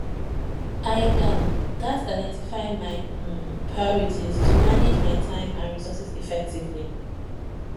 i um gats identify my um priorities to manage my time and resources effectively